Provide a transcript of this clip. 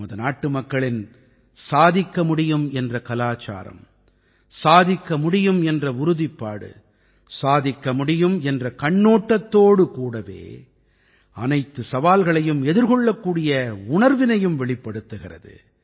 நமது நாட்டுமக்களின் சாதிக்க முடியும் என்ற கலாச்சாரம் சாதிக்க முடியும் என்ற உறுதிப்பாடு சாதிக்க முடியும் என்ற கண்ணோட்டத்தோடு கூடவே அனைத்துச் சவால்களையும் எதிர்கொள்ளக்கூடிய உணர்வினையும் வெளிப்படுத்துகிறது